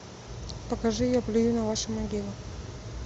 покажи я плюю на ваши могилы